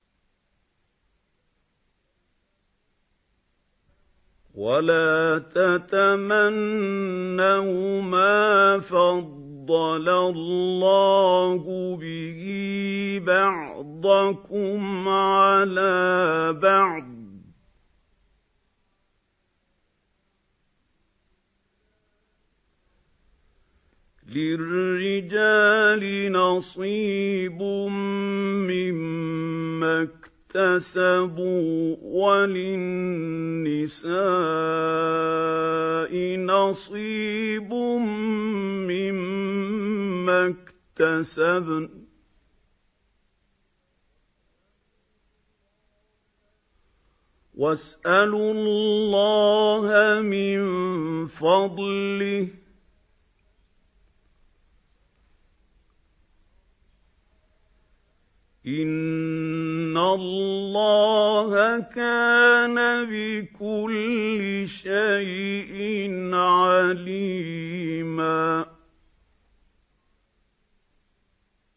وَلَا تَتَمَنَّوْا مَا فَضَّلَ اللَّهُ بِهِ بَعْضَكُمْ عَلَىٰ بَعْضٍ ۚ لِّلرِّجَالِ نَصِيبٌ مِّمَّا اكْتَسَبُوا ۖ وَلِلنِّسَاءِ نَصِيبٌ مِّمَّا اكْتَسَبْنَ ۚ وَاسْأَلُوا اللَّهَ مِن فَضْلِهِ ۗ إِنَّ اللَّهَ كَانَ بِكُلِّ شَيْءٍ عَلِيمًا